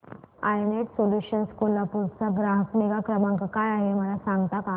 I Net Solutions Kolhapur चा ग्राहक निगा क्रमांक काय आहे मला सांगता का